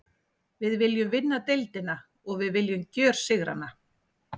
Við viljum vinna deildina og við viljum gjörsigra hana.